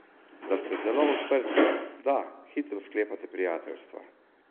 Da ste zelo odprti, da hitro sklepate prijateljstva.